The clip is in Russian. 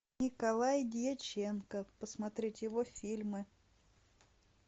николай дьяченко посмотреть его фильмы